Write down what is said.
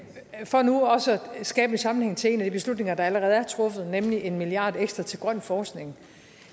for nu også at skabe en sammenhæng til en af de beslutninger der allerede er truffet nemlig en milliard kroner ekstra til grøn forskning